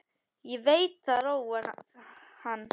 Veit að það róar hann.